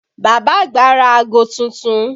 Bàbá àgbà ra aago tuntun